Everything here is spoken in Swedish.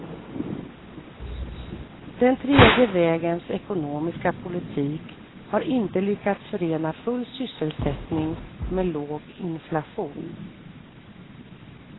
Den tredje vägens ekonomiska politik har inte lyckats förena full sysselsättning med låg inflation.